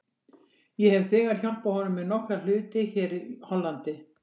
Ég hef þegar hjálpað honum með nokkra hluti hér í Hollandi.